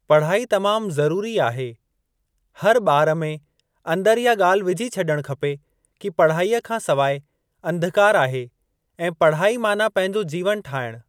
पढ़ाई तमामु ज़रुरी आहे, हर ॿार में अन्दर इहा ॻाल्हि विझी छॾण खपे कि पढ़ाईअ खां सवाइ अंधकार आहे ऐं पढ़ाई माना पंहिंजो जीवन ठाहिणु।